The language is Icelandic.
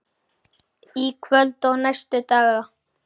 Í kvöld og næstu daga?